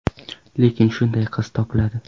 Lekin shunday qiz topiladi.